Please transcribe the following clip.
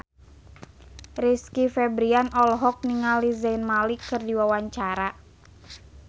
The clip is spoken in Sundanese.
Rizky Febian olohok ningali Zayn Malik keur diwawancara